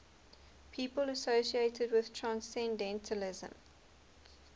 people associated with transcendentalism